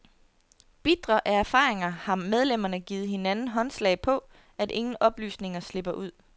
Bitre af erfaringer har medlemmerne givet hinanden håndslag på, at ingen oplysninger slipper ud.